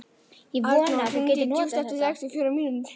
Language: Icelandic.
Arnór, hringdu í Júst eftir sextíu og fjórar mínútur.